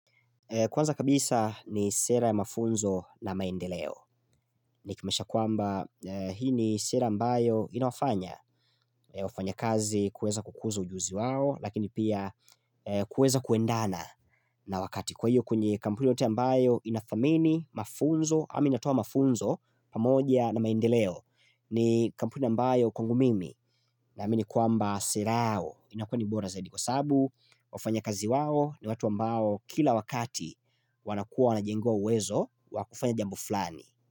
Kwanza kabisa ni sera ya mafunzo na maendeleo Nikimaanisha kwamba hii ni sera ambayo inafanya wafanya kazi kuweza kukuzo ujuzi wao Lakini pia kuweza kuendana na wakati Kwa hiyo kunye kampuni yote ambayo inadhamini mafunzo Ama inatoa mafunzo pamoja na maendeleo ni kampuni ambayo kwangu mimi na amini kwamba sera yao inakua ni bora zaidi kwa sababu wafanya kazi wao ni watu ambayo kila wakati wanakuwa wanajenewa uwezo wakufanya jambo fulani.